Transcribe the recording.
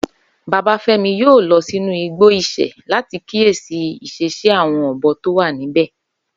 Babáfẹ́mi yóò lọ sínú igbó Ìsẹ̀ láti kíyèsí ìṣesí àwọn ọ̀bọ tó wà níbẹ̀